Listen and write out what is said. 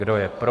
Kdo je pro?